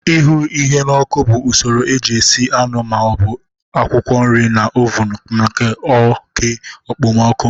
Ihu ihe n'oku bụ usoro eji esi anụ ma ọ bụ akwụkwọ nri na oven na oke okpomọkụ